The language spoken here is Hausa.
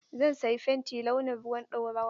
Zan saya fenti launin ruwan ɗorawa.